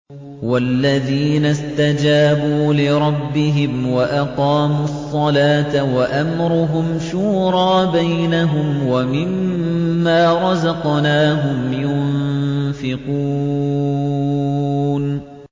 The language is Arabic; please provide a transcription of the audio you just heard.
وَالَّذِينَ اسْتَجَابُوا لِرَبِّهِمْ وَأَقَامُوا الصَّلَاةَ وَأَمْرُهُمْ شُورَىٰ بَيْنَهُمْ وَمِمَّا رَزَقْنَاهُمْ يُنفِقُونَ